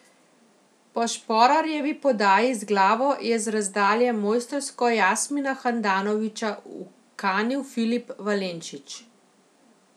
Po Šporarjevi podaji z glavo je z razdalje mojstrsko Jasmina Handanovića ukanil Filip Valenčič.